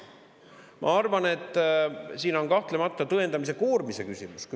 Ma arvan, et siin on kahtlemata tõendamise koormise küsimus.